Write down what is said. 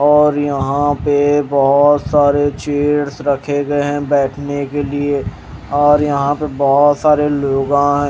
और यहां पे बहुत सारे चेयर्स रखे गये है बैठने के लिए और यहां पे बहोत सारे लोग आएं --